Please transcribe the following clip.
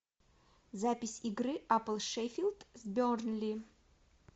запись игры апл шеффилд с бернли